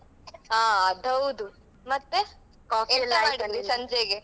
ಹಾ ಅದ್ ಹೌದು ಮತ್ತೆ